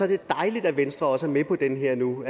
det dejligt at venstre også er med på den her nu